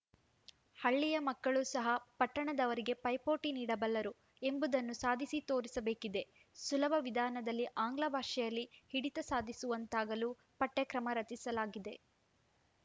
ಹಳ್ಳಿಯ ಮಕ್ಕಳೂ ಸಹ ಪಟ್ಟಣದವರಿಗೆ ಪೈಪೋಟಿ ನೀಡಬಲ್ಲರು ಎಂಬುದನ್ನು ಸಾಧಿಸಿತೋರಿಸಬೇಕಿದೆ ಸುಲಭ ವಿಧಾನದಲ್ಲಿ ಆಂಗ್ಲಭಾಷೆಯಲ್ಲಿ ಹಿಡಿತ ಸಾಧಿಸುವಂತಾಗಲು ಪಠ್ಯಕ್ರಮ ರಚಿಸಲಾಗಿದೆ